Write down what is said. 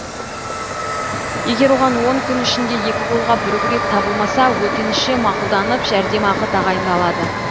егер оған он күн ішінде екі қолға бір күрек табылмаса өтініші мақұлданып жәрдемақы тағайындалады